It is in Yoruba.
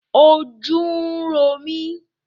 Ojú ń ro mí